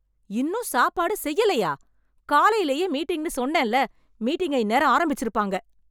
இன்னும் சாப்பாடு செய்யலையா காலையிலேயே மீட்டிங்னு சொன்னேன்ல மீட்டிங்க இந்நேரம் ஆரம்பிச்சிருப்பாங்க